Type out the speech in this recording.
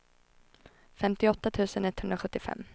femtioåtta tusen etthundrasjuttiofem